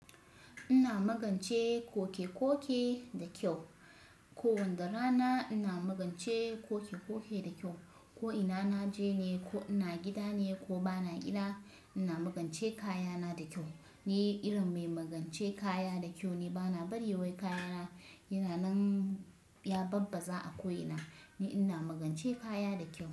Ina magance koke-koke da kyau. Ko wanda rana ina magance koke-koke da kyau. Ko ina na je ne ko ina gida ne ko ba na gida, ina magance kayana da kyau. Ni irin mai magance kaya da kyau ne. Ba na bari wai kayana yana ya babbaza a ko ina, ni ina magance kaya da kyau.